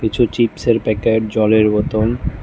কিছু চিপসের প্যাকেট জলের বোতল --